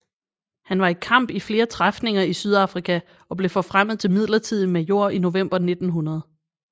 Han var i kamp i flere træfninger i Syd Afrika og blev forfremmet til midlertidig major i november 1900